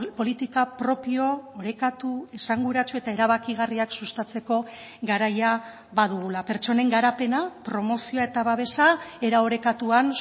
politika propio orekatu esanguratsu eta erabakigarriak sustatzeko garaia badugula pertsonen garapena promozioa eta babesa era orekatuan